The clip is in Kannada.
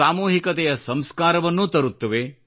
ಸಾಮೂಹಿಕತೆಯ ಸಂಸ್ಕಾರವನ್ನೂ ತರುತ್ತವೆ